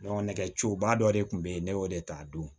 nɛgɛciba dɔ de kun be yen ne y'o de ta a don